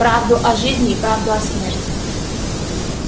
правду о жизни и правду о смерти